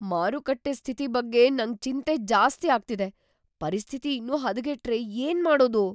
ಮಾರುಕಟ್ಟೆ ಸ್ಥಿತಿ ಬಗ್ಗೆ ನಂಗ್ ಚಿಂತೆ‌ ಜಾಸ್ತಿ ಆಗ್ತಿದೆ. ಪರಿಸ್ಥಿತಿ ‌ಇನ್ನೂ ಹದಗೆಟ್ರೆ ಏನ್ಮಾಡೋದು?